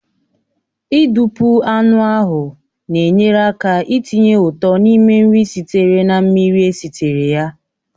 Ị dupu anụ ahụ na-enyere aka itinye ụtọ n'ime nri sitere na mmiri esitere ya